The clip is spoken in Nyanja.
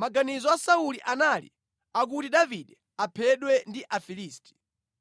Maganizo a Sauli anali akuti Davide aphedwe ndi Afilisti.